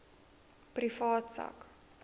privaat sak